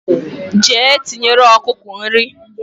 Jee tinyere okuku nri